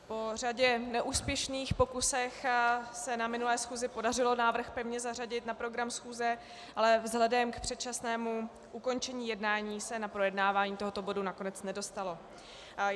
Po řadě neúspěšných pokusů se na minulé schůzi podařilo návrh pevně zařadit na program schůze, ale vzhledem k předčasnému ukončení jednání se na projednávání tohoto bodu nakonec nedostalo.